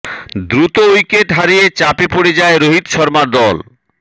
দ্রুত উইকেট হারিয়ে চাপে পড়ে যায় রোহিত শর্মার দল